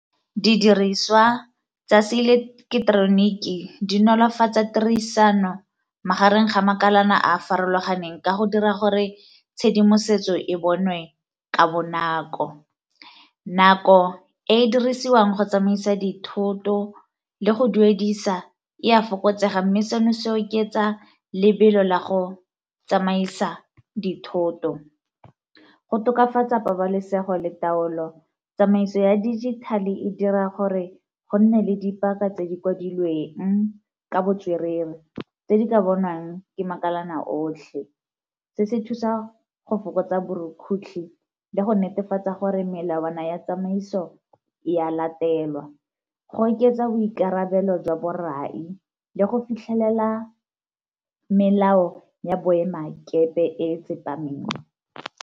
Didiriswa tsa se eleketeroniki di nolofatsa tirisano magareng ga makalana a a farologaneng ka go dira gore tshedimosetso e bonwe ka bonako. Nako e e dirisiwang go tsamaisa dithoto le go duedisa e a fokotsega mme seno se oketsa lebelo la go tsamaisa dithoto. Go tokafatsa pabalesego le taolo, tsamaiso ya digital e dira gore go nne le dipaka tse di kwadilweng ka botswerere tse di ka bonwang ke makalana otlhe. Se se thusa go fokotsa borukutlhi ya go netefatsa gore melawana ya tsamaiso ya latelwa, go oketsa boikarabelo jwa borai le go fitlhelela melao ya boemakepe e tsepameng.